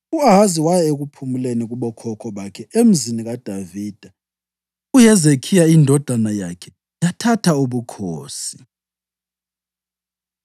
U-Ahazi waya ekuphumuleni kubokhokho bakhe eMzini kaDavida. UHezekhiya indodana yakhe yathatha ubukhosi.